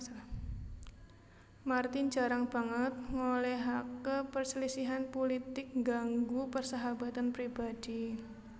Martin jarang banget ngolehake perselisihan pulitik ngganggu persahabatan pribadhi